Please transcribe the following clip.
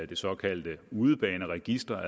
det såkaldte udebaneregister